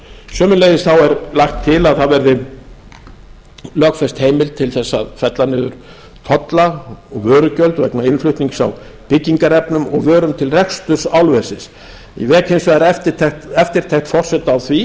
sömuleiðis er lagt til að það verði lögfest heimild til að fella niður tolla vörugjöld vegna innflutnings á byggingarefnum og vörum til reksturs álversins ég vek hins vegar eftirtekt forseta á